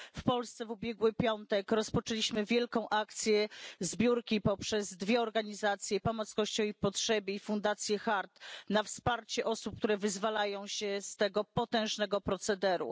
W Polsce w ubiegły piątek rozpoczęliśmy wielką akcję zbiórki, poprzez dwie organizacje Pomoc Kościołowi w Potrzebie i Fundację HAART, na wsparcie osób, które wyzwalają się z tego potężnego procederu.